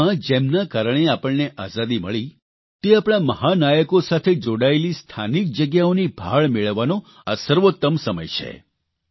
એવામાં જેમના કારણે આપણને આઝાદી મળી તે આપણા મહાનાયકો સાથે જોડાયેલી સ્થાનિક જગ્યાઓની ભાળ મેળવવાનો આ સર્વોત્તમ સમય છે